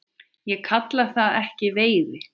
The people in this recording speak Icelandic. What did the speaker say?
Ég kalla það ekki veiði.